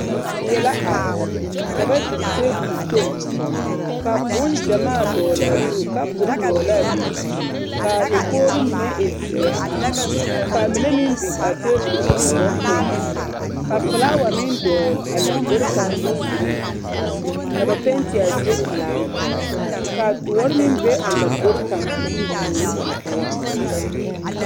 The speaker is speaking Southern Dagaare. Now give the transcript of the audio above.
Die la are ka ba biŋ teebol kpoŋ ka boŋgyɛmaa dɔgele a zu, kapuri dɔgele l'a be k'a dakogiri mine e zeɛ k'a mine meŋ biŋ a teebol puliŋ bompelaa ka felaawa meŋ dɔgele a lombori kaŋa boŋ giriin ka ba penti a zie pelaa ka doɔre meŋ be a lombori kaŋa bogiri mine poɔ.